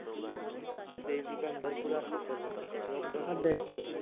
एक दुकान वर भरपूर अशे चालले, एक दोन कशे सांगू तुला?